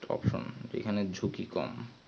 option যেখানে ঝুঁকি কম